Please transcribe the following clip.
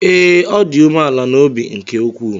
Ee, ọ dị umeala n’obi nke ukwuu.